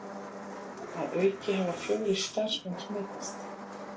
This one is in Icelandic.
Að auki hafa fjórir starfsmenn smitast